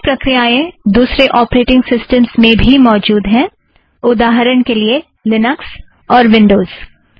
ऐसी प्रक्रियाँएं दूसरे ऑपरेटिंग सिस्टमस में भी मौजुद हैं - उदाहरण के लिए लिनक्स और विन्ड़ोज़